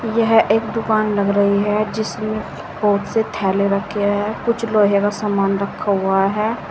यह एक दुकान लग रही है जिसमें बहुत से थैले रखे है कुछ लोहे का सामान रखा हुआ है।